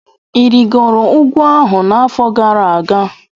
Ị rịgoro ugwu ahụ n'afọ gara aga?